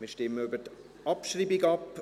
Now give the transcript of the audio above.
Wir stimmen über die Abschreibung ab.